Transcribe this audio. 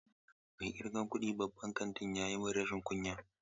Mai ƙirgan kuɗin babban kantin ya yi min rashin kunya.